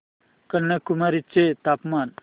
कन्याकुमारी चे तापमान